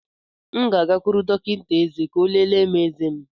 M ga-agakwuru dọkịta eze ka ọ lelee eze m.